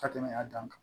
Ka tɛmɛ a dan kan